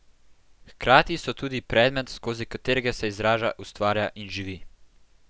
Hkrati so tudi predmet, skozi katerega se izraža, ustvarja in živi.